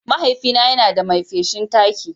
Mahaifina yana da mai feshin taki.